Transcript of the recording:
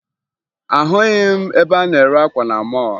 Ahụghị m ebe a na-ere akwa na mọọlụ